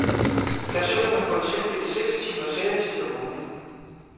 Stationen har fået tildelt seks timers sendetid om ugen.